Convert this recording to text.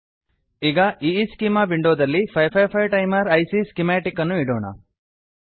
ಈಗ schema schema ವಿಂಡೋನಲ್ಲಿ 555 timer IC schematic ಅನ್ನು ಇಡೋಣ